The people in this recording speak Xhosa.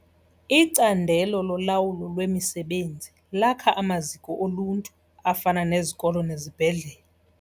Icandelo lolawulo lwemisebenzi lakha amaziko oluntu afana nezikolo nezibhedlele.